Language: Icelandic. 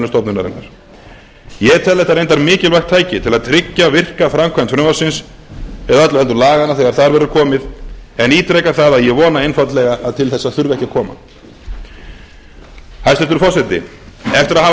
stofnunarinnar ég tel þetta reyndar mikilvægt tæki til að tryggja virka framkvæmd frumvarpsins eða öllu heldur laganna þegar það verður komið en ítreka það að ég vona einfaldlega að til þessa þurfi ekki að koma hæstvirtur forseti eftir að hafa